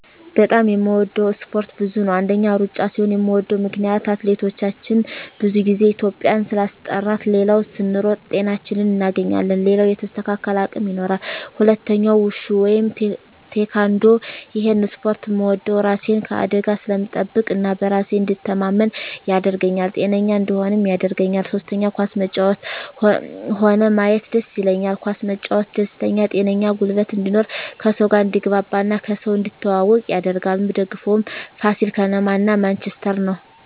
በጣም የምወደው እስፓርት ብዙ ነው አንደኛ እሩጫ ሲሆን ምወደው ምክነያት አትሌቶቻችን ብዙ ግዜ ኢትዩጵያን ስላስጠራት ሌላው ስንሮጥ ጤናችን እናገኛለን ሌላው የተስተካከለ አቅም ይኖራል ሁለተኛው ውሹ ወይም ቲካንዶ እሄን እስፖርት ምወደው እራሴን ከአደጋ ስለምጠብቅ እና በራሴ እንድተማመን ያረገኛል ጤነኛ እንድሆንም ያረገኛል ሶስተኛ ኳስ መጫወት ሆነ ማየት ደስ ይለኛል ኳስ መጫወት ደስተኛ ጤነኛ ጉልበት እንድኖር ከሰው ጋር አድትግባባ እና ከሰው እንድትተዋወቅ ያረጋል ምደግፈው ፋሲል ከነማ እና ማንችስተር ነው